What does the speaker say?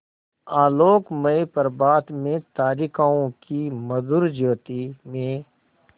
आलोकमय प्रभात में तारिकाओं की मधुर ज्योति में